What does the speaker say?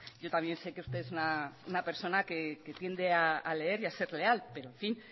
yo también sé que usted es una persona que tiende a leer y a ser leal pero en fin